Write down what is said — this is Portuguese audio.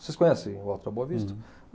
Vocês conhecem o Alto da Boa Vista?